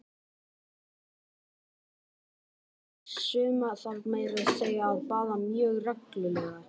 Já, það má baða hunda, og suma þarf meira að segja að baða mjög reglulega!